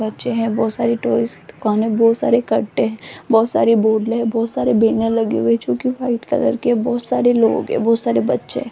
बच्चे हैं बहोत सारी टॉयज की दुकानें बहोत सारी कट्टे है बहुत सारी हैं बहुत सारे बैनर लगे हुए जो की व्हाइट कलर के बहुत सारे लोग है बहुत सारे बच्चे है।